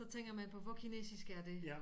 Så tænker man på hvor kinesisk er det